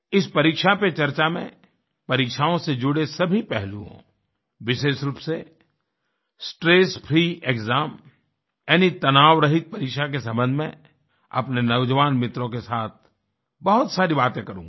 इस परीक्षा पे चर्चा में परीक्षाओं से जुड़े सभी पहलुओं विशेष रूप से स्ट्रेस फ्री एक्साम यानी तनावरहित परीक्षा के संबंध में अपने नौजवान मित्रों के साथ बहुत सारी बातें करूंगा